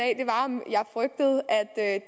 at